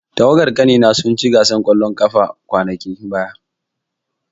Tawagar ƙanina sun ci gasar ƙwallon ƙafa kwanakin baya.